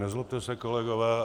Nezlobte se, kolegové.